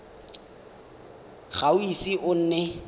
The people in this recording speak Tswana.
ga o ise o nne